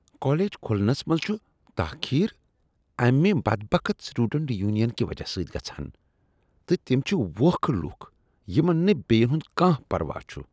College کھلنس منز چھ تاخیر امہ بدبخت سٹوڈنٹس یونین کہ وجہ سۭتۍ گژھان تہٕ تِم چھ ووکھٕ لوکھ یمن نہٕ بیٚین ہند کانٛہہ پروا چھ۔